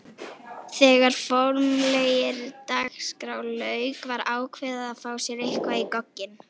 Þegar formlegri dagskrá lauk var ákveðið að fá sér eitthvað í gogginn.